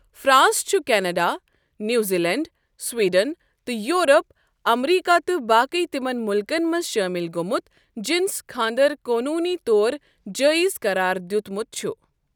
France چُھ Canada, New Zealand Sweden, تہٕ Europe, America تہ باقی تِمن مُلکن منز شامل گومُت جنس کھاندر قونوٗنی طور جٲیِز قرار دِیُت مُت چھُ۔